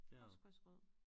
Postkasse rød